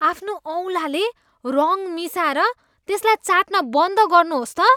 आफ्नो औँलाले रङ मिसाएर त्यसलाई चाट्न बन्द गर्नुहोस् त।